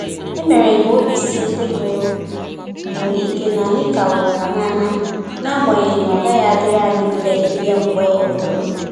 E mere m ka obi sie ndị mụrụ m ike na anyị ka hụrụ ha n'anya, agbanyeghi na ọ gaghị adịrị anyị mfe ịbịa mgbe ọbụla